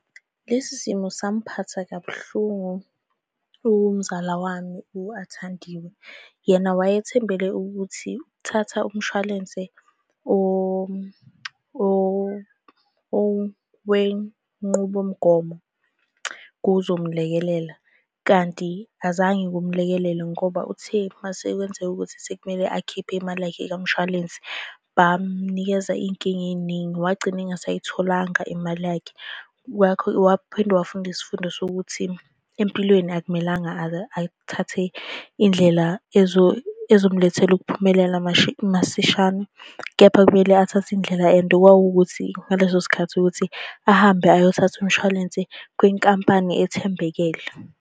Lesi simo samphatha kabuhlungu umzala wami, u-Athandiwe. Yena wayethembele ukuthi ukuthatha umshwalense owenqubomgomo kuzomlekelela, kanti azange kumlekelele ngoba uthe uma sekwenzeka ukuthi sekumele akhiphe imali yakhe kamshwalensi, bamnikeza iy'nkinga ey'ningi. Wagcina engasayitholanga imali yakhe. Waphinde wafunda isifundo sokuthi empilweni akumelanga athathe iy'ndlela ezomlethela ukuphumelela masishane, kepha kumele athathe indlela and kwakuwukuthi ngaleso sikhathi ukuthi ahambe ayothatha umshwalense kwinkampani ethembekele.